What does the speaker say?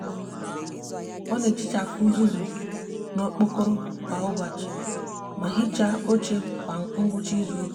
o n'etichafu uzuzu n'okpokoro kwa ubochi ma hicha oche kwa ngwcha izuuka